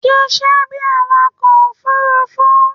Ṣiṣẹ́ bí awakọ̀ òfurufú.